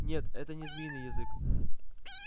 нет это не змеиный язык